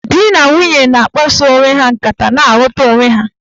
Dị na nwunye na-akpaso onwe ha nkata na-aghọta onwe ha.